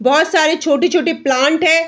बहुत सारी छोटी-छोटी प्लांट है।